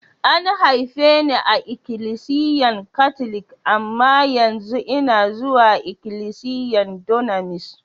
A'n haife ni a'ikilisiyan katlic, amma yanzu una zuwa ikilisiyan Dunamis.